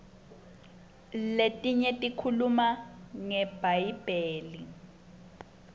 letinye tikhuluma ngebhayibheli